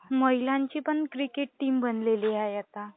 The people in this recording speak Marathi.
महिलांची पण क्रिकेट टीम आहे आता.